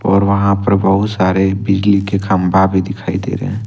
और वहां पर बहुत सारे बिजली के खंभा भी दिखाई दे रहे हैं।